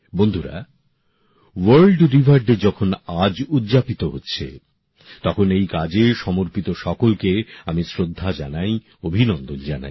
বন্ধুরা world river day যখন আজ উদযাপিত হচ্ছে তখন এই কাজে সমর্পিত সকলকে আমি শ্রদ্ধা জানাই অভিনন্দন জানাই